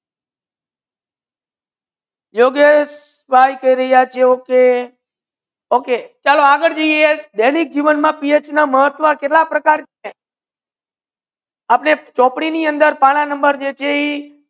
યોગેશ કરી રહિયા છો કે okay દૈનિક જીવન મા PH નુ મહાત્વા કેતલા પ્રકર આપની ચોપડી ની અંદર પણ નંબર જે છે